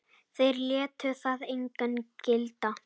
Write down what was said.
Þeir létu það einu gilda.